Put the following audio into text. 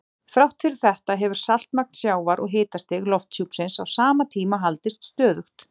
Þrátt fyrir þetta hefur saltmagn sjávar og hitastig lofthjúpsins á sama tíma haldist stöðugt.